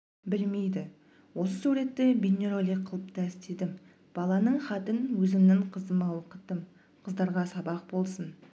білмейді осы суретті бейнеролик қылып та істедім баланың хатын өзімнің қызыма оқыттым қыздарға сабақ болсын